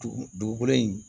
Dugukolo in